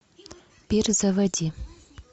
пир заводи